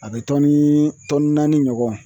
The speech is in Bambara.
A bɛ tɔni tɔni naani ɲɔgɔn